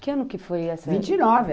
Que ano que foi essa? vinte e nove.